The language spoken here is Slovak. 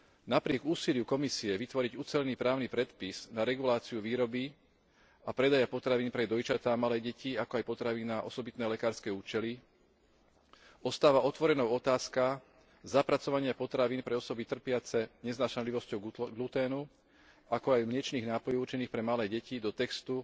Napriek úsiliu Komisie vytvoriť ucelený právny predpis na reguláciu výroby a predaja potravín pre dojčatá a malé deti, ako aj potravín na osobitné lekárske účely, ostáva otvorenou otázka zapracovania potravín pre osoby trpiace neznášanlivosťou gluténu, ako aj mliečnych nápojov určených pre malé deti, do textu